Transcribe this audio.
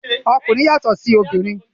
Okunrin yàtọ sí òbinrín.